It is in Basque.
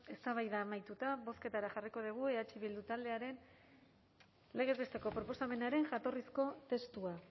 eztabaida amaituta bozketara jarriko dugu eh bildu taldearen legez besteko proposamenaren jatorrizko testua